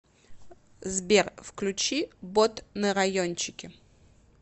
сбер включи бот на райончике